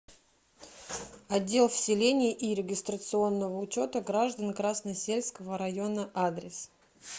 отдел вселения и регистрационного учета граждан красносельского района адрес